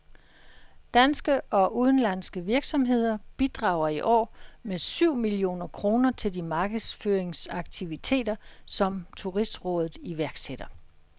Danske og udenlandske virksomheder bidrager i år med syv millioner kroner til de markedsføringsaktiviteter, som turistrådet iværksætter.